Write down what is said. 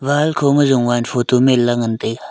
wall kho ma jowan photo menla ngan taiga.